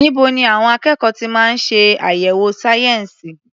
Níbo ni àwọn akẹ́kọ̀ọ́ ti máa ń ṣe àyẹ̀wò sayensi?